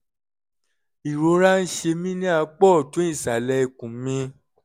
ìrora ń ṣe mí ní apá ọ̀tún ìsàlẹ̀ ikùn mi